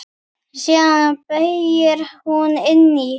Síðan beygir hún inn í